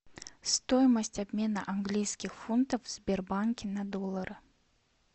стоимость обмена английских фунтов в сбербанке на доллары